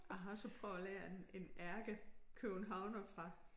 Jeg har også prøvet at lære en en ærkekøbenhavner fra